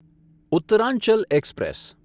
Uttaranchal express